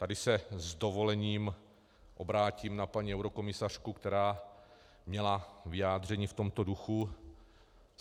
Tady se s dovolením obrátím na paní eurokomisařku, která měla vyjádření v tomto duchu.